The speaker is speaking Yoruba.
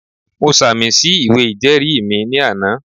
Mo sàmì sí ìwé ìjẹ́ẹ̀rí mi ní àná